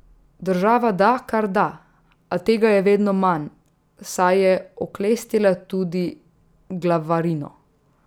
Država da, kar da, a tega je vedno manj, saj je oklestila tudi glavarino.